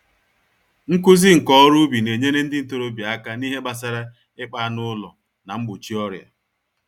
Nkụzi nka-oru-ubi nenyere ndị ntorobịa àkà n'ihe gbásárá ịkpa anụ ụlọ, na mgbochi ọrịa.